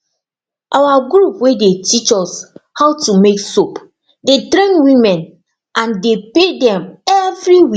our group wey dey teach us how to make soap dey train women and dey pay dem every week